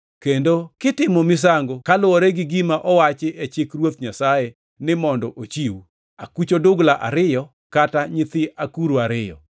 kendo kitimo misango koluwore gi gima owachi e Chik mar Ruoth Nyasaye ni mondo ochiw: “akuch odugla ariyo kata nyithi akuru ariyo.” + 2:24 \+xt Lawi 12:8\+xt*